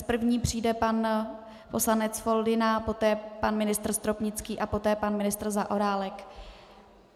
S první přijde pan poslanec Foldyna, poté pan ministr Stropnický a poté pan ministr Zaorálek.